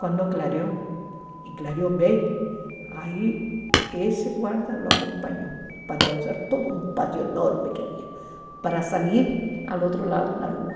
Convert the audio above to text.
Quando clareou, e clareou bem, aí esse guarda o acompanhou para atravessar todo um pátio enorme que havia, para sair ao outro lado na rua.